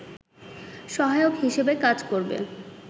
সহায়ক হিসেবে কাজ করবে